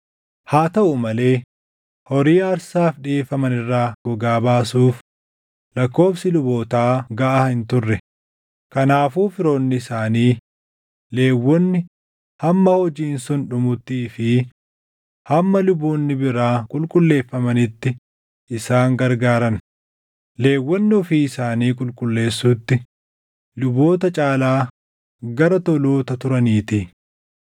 Haa taʼu malee horii aarsaaf dhiʼeeffaman irraa gogaa baasuuf lakkoobsi lubootaa gaʼaa hin turre; kanaafuu firoonni isaanii Lewwonni hamma hojiin sun dhumuttii fi hamma luboonni biraa qulqulleeffamanitti isaan gargaaran; Lewwonni ofii isaanii qulqulleessuutti luboota caalaa gara toloota turaniitii.